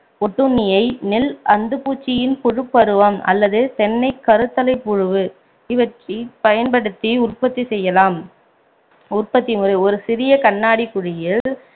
ஓட்டுண்ணியை நெல் அந்துப்பூச்சியின் புழுப்பருவம் அல்லது தென்னை கருத்தலைப்புழு இவற்றைப் பயன்படுத்தி உற்பத்தி செய்யலாம் உறபத்தி முறை ஒரு சிறிய கண்ணாடி குழாயில்